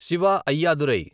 Shiva Ayyadurai